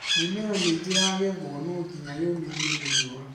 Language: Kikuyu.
mĩmera mĩingĩ yagethwo no ngĩnya yũmĩthio nĩ rĩũa